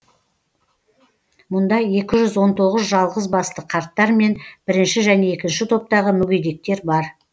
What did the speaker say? мұнда екі жүз он тоғыз жалғыз басты қарттар мен бірінші және екінші топтағы мүгедектер бар